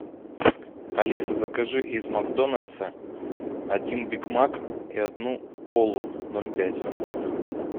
алиса закажи из макдональдса один биг мак и одну колу ноль пять